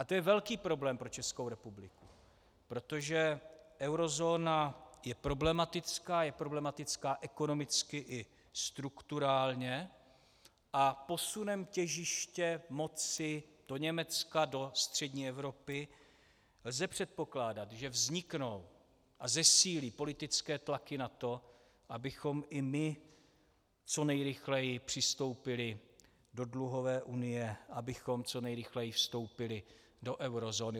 A to je velký problém pro Českou republiku, protože eurozóna je problematická, je problematická ekonomicky i strukturálně, a posunem těžiště moci do Německa, do střední Evropy, lze předpokládat, že vzniknou a zesílí politické tlaky na to, abychom i my co nejrychleji přistoupili do dluhové unie, abychom co nejrychleji vstoupili do eurozóny.